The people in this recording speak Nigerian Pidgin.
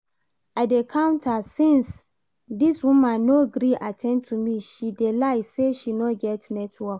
I dey counter since, this woman no gree at ten d to me, she dey lie say she no get network